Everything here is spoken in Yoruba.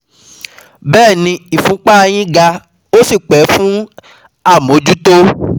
Bẹ́ẹ̀ni ìfúnpá a yín ga ó sì pè fún àmójútó